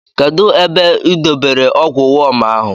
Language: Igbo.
Kedụ ebe u dotere ọgwụ wọm ahụ?